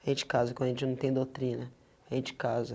A gente casa quando a gente não tem doutrina, a gente casa.